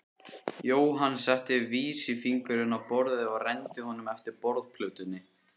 Jóhann setti vísifingurinn á borðið og renndi honum eftir borðplötunni.